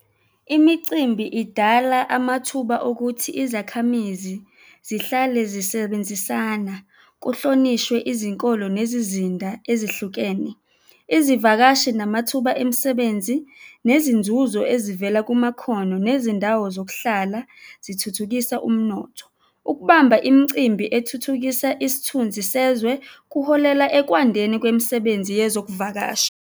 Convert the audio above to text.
Imicimbi idala amathuba okuthi izakhamizi zihlale zisebenzisana, kuhlonishwe izinkolo nezizinda ezihlukene. Izivakashi namathuba emisebenzi nezinzuzo ezivela kumakhono nezindawo zokuhlala zithuthukisa umnotho. Ukubamba imicimbi ethuthukisa isithunzi sezwe kuholela ekwandeni kwemisebenzi yezokuvakasha.